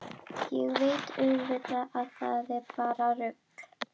Ég veit auðvitað að það er bara rugl.